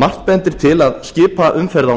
margt bendir til að skipaumferð á